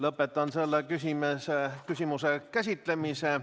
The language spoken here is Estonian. Lõpetan selle küsimuse käsitlemise.